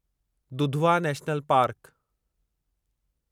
Dudhwa national park